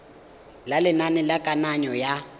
ya lenane la kananyo ya